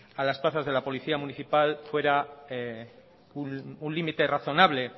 a las plazas de la policía municipal fuera un límite razonable